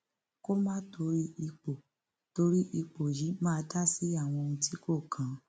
kó má torí ipò torí ipò yìí máa dá sí àwọn ohun tí kò kàn án